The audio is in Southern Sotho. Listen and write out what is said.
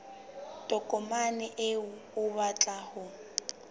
tokomane eo o batlang ho